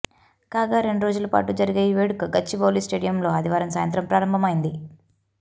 కాగా రెండురోజులపాటు జరిగే ఈ వేడుక గచ్చిబౌలి స్టేడియంలో ఆదివారం సాయంత్రం ప్రారంభమైంది